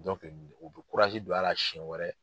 o be don a la siɲɛ wɛrɛ